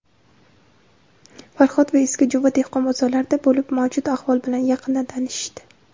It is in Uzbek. "Farhod" va "Eski jo‘va" dehqon bozorlarida bo‘lib mavjud ahvol bilan yaqindan tanishishdi.